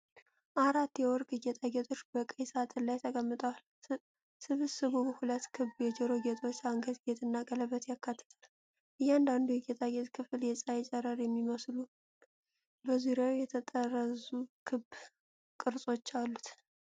አራት የወርቅ ጌጣጌጦች በቀይ ሳጥን ላይ ተቀምጠዋል። ስብስቡ ሁለት ክብ የጆሮ ጌጦች፣ አንገት ጌጥ እና ቀለበት ያካትታል። እያንዳንዱ የጌጣጌጥ ክፍል የፀሐይን ጨረር የሚመስሉ፣ በዙሪያው የተጠረዙ ክብ ቅርጾች አሉት።